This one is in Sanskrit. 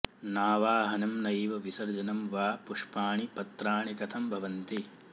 नावाहनं नैव विसर्जनं वा पुष्पाणि पत्राणि कथं भवन्ति